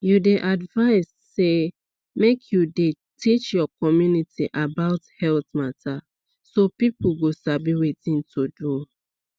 you dey advised say make you dey teach your community about health mata so people go sabi wetin to do